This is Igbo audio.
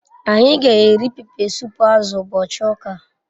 Anyi g'eri pepe sup azu ubochi uka